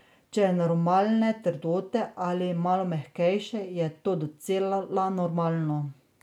Če je normalne trdote ali malo mehkejše, je to docela normalno.